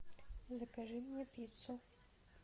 закажи мне пиццу